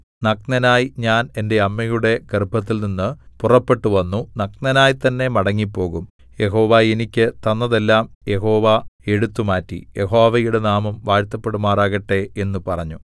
നഗ്നനായി ഞാൻ എന്റെ അമ്മയുടെ ഗർഭത്തിൽനിന്ന് പുറപ്പെട്ടുവന്നു നഗ്നനായി തന്നെ മടങ്ങിപ്പോകും യഹോവ എനിക്ക് തന്നതെല്ലാം യഹോവ എടുത്തുമാറ്റി യഹോവയുടെ നാമം വാഴ്ത്തപ്പെടുമാറാകട്ടെ എന്നു പറഞ്ഞു